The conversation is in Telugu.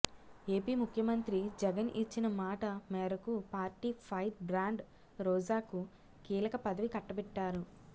ఏపీ ముఖ్యమంత్రి జగన్ ఇచ్చిన మాట మేరకు పార్టీ ఫైర్ బ్రాండ్ రోజాకు కీలక పదవి కట్టబెట్టారు